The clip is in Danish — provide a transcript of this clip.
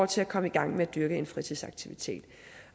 til at komme i gang med at dyrke en fritidsaktivitet